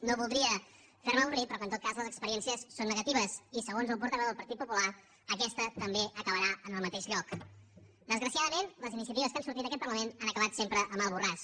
no voldria fer me avorrit però que en tot cas les experiències són negatives i segons el portaveu del partit popular aquesta també acabarà en el mateix lloc desgraciadament les iniciatives que han sortit d’aquest parlament han acabat sempre a mal borràs